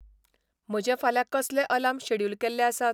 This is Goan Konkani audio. म्हजे फाल्यां कसले आलार्म शेड्युल केल्ले आसात?